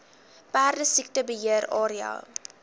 perdesiekte beheer area